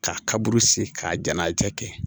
K'a ka burusi k'a jɛnnatigɛ kɛ